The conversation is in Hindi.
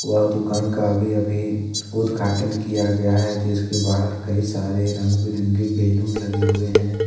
वह दुकान का अभी अभी उद्घाटन किया गया है जिसके बाहर कई सारे रंग बिरंगे बैलून लगे हुए हैं।